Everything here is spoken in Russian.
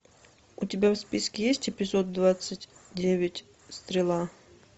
у тебя в списке есть эпизод двадцать девять стрела